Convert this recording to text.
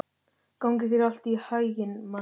Gangi þér allt í haginn, Manni.